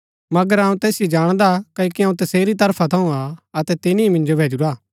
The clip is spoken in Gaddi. मगर अऊँ तैसिओ जाणदा क्ओकि अऊँ तसेरी तरफा थऊँ हा अतै तिनी ही मिन्जो भैजुरा